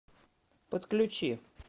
подключи